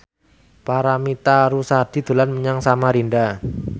Paramitha Rusady dolan menyang Samarinda